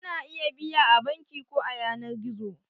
Ana iya biya a banki ko a yanar gizo.